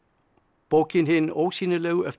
bókin Hin ósýnilegu eftir